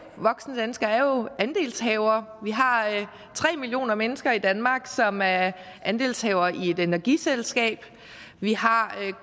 voksne danskere er jo andelshavere vi har tre millioner mennesker i danmark som er andelshavere i et energiselskab vi har